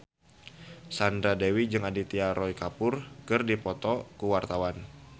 Sandra Dewi jeung Aditya Roy Kapoor keur dipoto ku wartawan